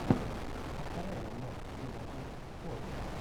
повторяй нам матч юнайтед и шпоры